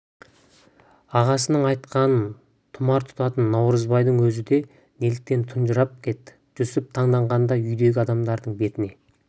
ағасының айтқанын тұмар тұтатын наурызбайдың өзі де неліктен тұнжырап кетті жүсіп таңданғандай үйдегі адамдардың бетіне